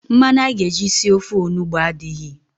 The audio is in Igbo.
Mmanụ a ga-eji sie ofe onugbo a adịghị.